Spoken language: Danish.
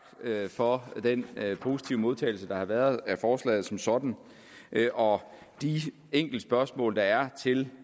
for den positive modtagelse der har været af forslaget som sådan og de enkelte spørgsmål der er til